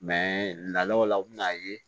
law u bɛ n'a ye